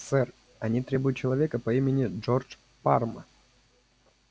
сэр они требуют человека по имени джордж парма